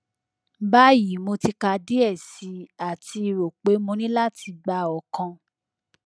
bayi mo ti ka diẹ sii ati ro pe mo ni lati gba ọkan